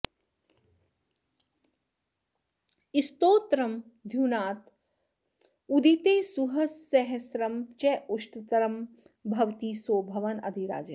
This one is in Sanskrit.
स्तोत्रं द्युनाथ उदिते सुसहस्रनाम चाष्टोत्तरं भवति सो भवनाधिराजः